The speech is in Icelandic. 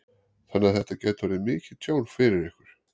Þannig að þetta gæti orðið mikið tjón fyrir ykkur?